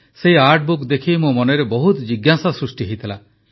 ସେହି art book ଦେଖି ମୋ ମନରେ ବହୁତ ଜିଜ୍ଞାସା ସୃଷ୍ଟି ହୋଇଥିଲା